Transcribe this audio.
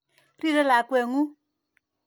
Rirei lakwet ng'ung'.